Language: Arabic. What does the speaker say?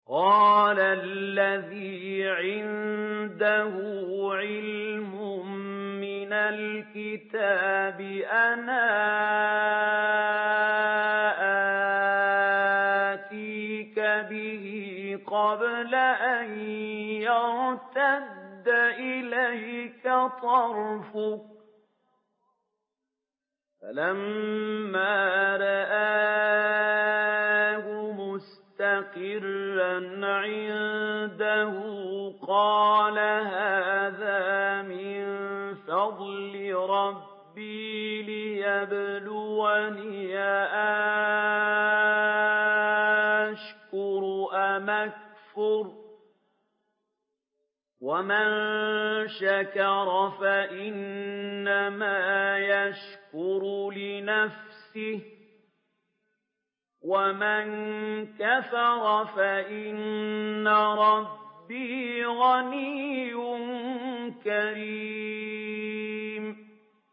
قَالَ الَّذِي عِندَهُ عِلْمٌ مِّنَ الْكِتَابِ أَنَا آتِيكَ بِهِ قَبْلَ أَن يَرْتَدَّ إِلَيْكَ طَرْفُكَ ۚ فَلَمَّا رَآهُ مُسْتَقِرًّا عِندَهُ قَالَ هَٰذَا مِن فَضْلِ رَبِّي لِيَبْلُوَنِي أَأَشْكُرُ أَمْ أَكْفُرُ ۖ وَمَن شَكَرَ فَإِنَّمَا يَشْكُرُ لِنَفْسِهِ ۖ وَمَن كَفَرَ فَإِنَّ رَبِّي غَنِيٌّ كَرِيمٌ